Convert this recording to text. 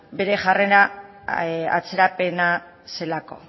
bere jarrera atzerapena zelako